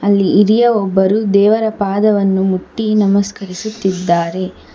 ಅಲ್ಲಿ ಹಿರಿಯ ಒಬ್ಬರು ದೇವರ ಪಾದವನ್ನು ಮುಟ್ಟಿ ನಮಸ್ಕರಿಸುತ್ತಿದ್ದಾರೆ.